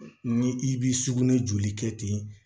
Ni i b'i sugunɛ joli kɛ ten